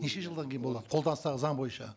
неше жылдан кейін болады қолданыстағы заң бойынша